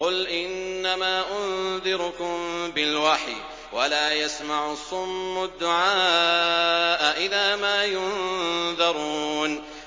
قُلْ إِنَّمَا أُنذِرُكُم بِالْوَحْيِ ۚ وَلَا يَسْمَعُ الصُّمُّ الدُّعَاءَ إِذَا مَا يُنذَرُونَ